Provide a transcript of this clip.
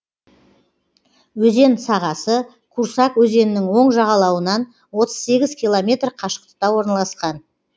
өзен сағасы курсак өзенінің оң жағалауынан отыз сегіз километр қашықтықта орналасқан